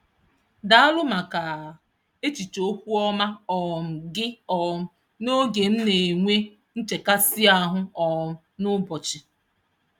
Daalụ maka echiche okwu ọma um gị um n'oge m na-enwe nchekasị ahụ um n'ụbọchị.